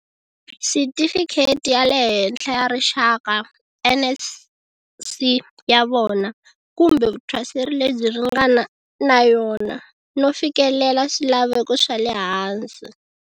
Sitifikheti ya le Henhla ya Rixaka, NSC, ya vona, kumbe vuthwaseri lebyi ringana na yona, no fikelela swilaveko swa le hansi.